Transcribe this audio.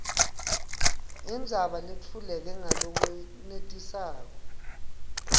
indzaba letfuleke ngalokwenetisako